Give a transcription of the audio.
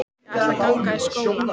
Ég ætla að ganga í skóla.